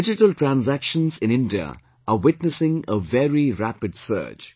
Digital transactions in India are witnessing a very rapid surge